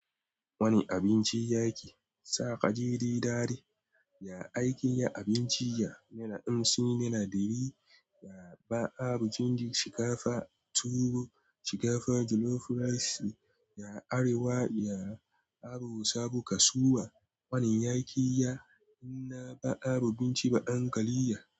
Wani abinci ya ke sa ka ji didadi? Ya aikin ya abinci ya na ɗan hamsin na dari, ya ba abu cindi, shiga fa tuwo, shiga fa jollof rice, ya arewa, ya abu sabo kasuwa. Wani ya ki ya, ina ba abu cind dai ba ankaliya.